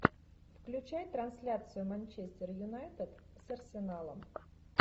включай трансляцию манчестер юнайтед с арсеналом